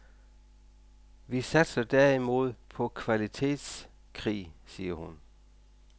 Vi satser derimod på kvalitetskrig, siger hun.